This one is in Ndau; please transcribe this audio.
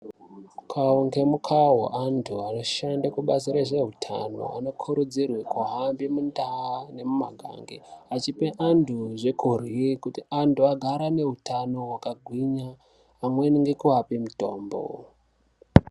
Mukau ngemukau antu anoshande basa rezveutano anokurudzirwe kuhambe kundau nemumagange achipe antu zvekuryi kuti antu agare ane utano wakagwinya amweni ngekuape mutombo.